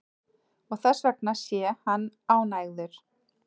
Og þessvegna sé hann ánægður